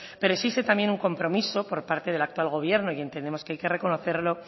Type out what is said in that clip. pero existe también un compromiso por parte del actual gobierno y entendemos que hay que reconocerlo